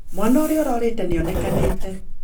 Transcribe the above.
Mwana ũrĩa urorĩte nĩ onekanĩte